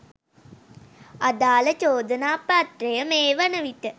අදාල චෝදනාපත්‍රය මේ වන විට